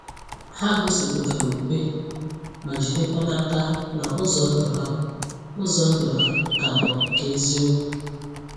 Ha gosipụtara okwukwe, ma jidekwa n’aka na ụzọ ndụ ha ụzọ ndụ ha ka bụ nke eziokwu.